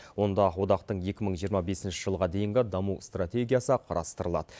онда одақтың екі мың жиырма бесінші жылға дейінгі даму стратегиясы қарастырылады